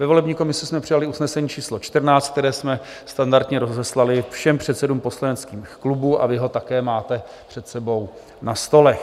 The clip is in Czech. Ve volební komisi jsme přijali usnesení číslo 14, které jsme standardně rozeslali všem předsedům poslaneckých klubů, a vy ho také máte před sebou na stolech.